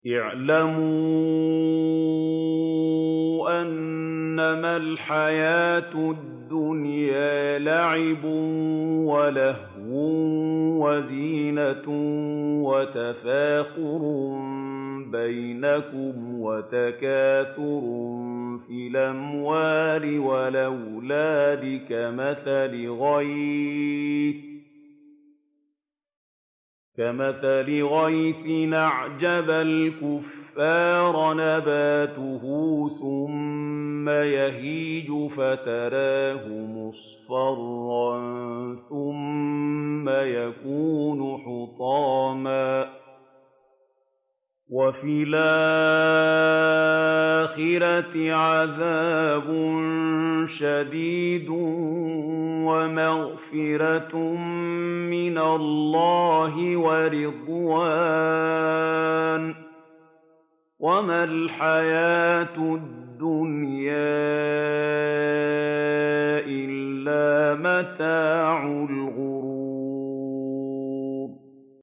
اعْلَمُوا أَنَّمَا الْحَيَاةُ الدُّنْيَا لَعِبٌ وَلَهْوٌ وَزِينَةٌ وَتَفَاخُرٌ بَيْنَكُمْ وَتَكَاثُرٌ فِي الْأَمْوَالِ وَالْأَوْلَادِ ۖ كَمَثَلِ غَيْثٍ أَعْجَبَ الْكُفَّارَ نَبَاتُهُ ثُمَّ يَهِيجُ فَتَرَاهُ مُصْفَرًّا ثُمَّ يَكُونُ حُطَامًا ۖ وَفِي الْآخِرَةِ عَذَابٌ شَدِيدٌ وَمَغْفِرَةٌ مِّنَ اللَّهِ وَرِضْوَانٌ ۚ وَمَا الْحَيَاةُ الدُّنْيَا إِلَّا مَتَاعُ الْغُرُورِ